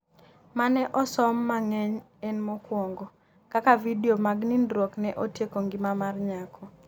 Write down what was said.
mane osom mangeny en mokuongo ,Kaka vidio mag nindruok ne otieko ngima mar nyako